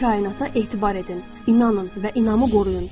Kainata etibar edin, inanın və inamı qoruyun.